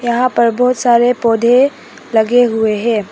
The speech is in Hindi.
यहां पर बहुत सारे पौधे लगे हुए हैं।